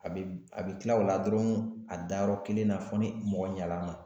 A bɛ a bɛ tila o la dɔrɔn a danyɔrɔ kelen na fo ni mɔgɔ ɲan'a ma.